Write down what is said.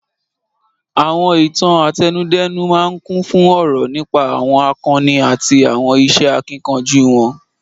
Àwọn Ìtàn àtẹnudẹ́nu máa ń kún fún òrò nípa àwọn àkọni àti àwọn iṣẹ́ akíkanjú wọn.